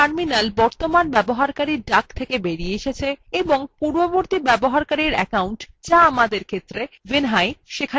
এখন terminal বর্তমান user duck থেকে বেরিয়ে এসেছে এবং পূর্ববর্তী user অ্যাকাউন্ট যা আমাদের ক্ষেত্রে vinhai সেখানে ফিরে এসেছে